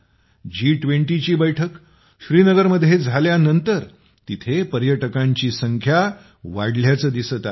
जी २० ची बैठक श्रीनगरमध्ये झाल्यानंतर तेथील पर्यटकांची संख्या वाढल्याचे दिसत आहे